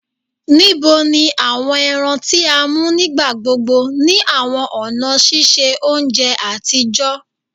Nibo ni awọn ẹran ti a mu nigbagbogbo ni awọn ọna ṣiṣe ounjẹ atijọ?